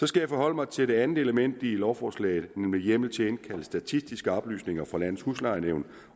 skal forholde mig til det andet element i lovforslaget nemlig hjemmel til at indkalde statistiske oplysninger fra landets huslejenævn